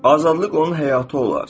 Azadlıq onun həyatı olar.